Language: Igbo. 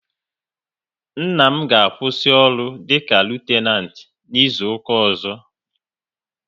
Nna m ga-akwụsị ọrụ dịka Litenant n'izuka ọzọ